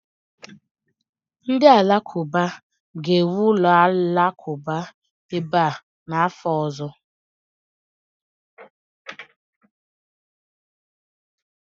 Ndị Alakụba ga-ewu ụlọ alakụba ebe a n'afọ ọzọ